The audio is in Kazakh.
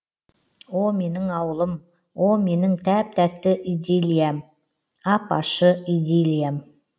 о менің ауылым о менің тәп тәтті идиллиям ап ащы идиллиям